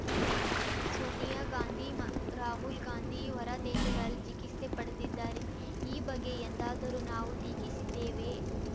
ಸೋನಿಯಾ ಗಾಂಧಿ ರಾಹುಲ್‌ ಗಾಂಧಿ ಹೊರ ದೇಶಗಳಲ್ಲಿ ಚಿಕಿತ್ಸೆ ಪಡೆದಿದ್ದಾರೆ ಈ ಬಗ್ಗೆ ಎಂದಾದರೂ ನಾವು ಟೀಕಿಸಿದ್ದೇವೆಯೇ